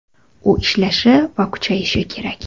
U ishlashi va kuchayishi kerak.